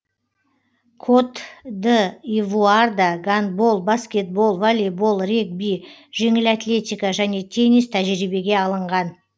кот д ивуарда гандбол баскетбол волейбол регби жеңіл атлетика және теннис тәжірибеге алынған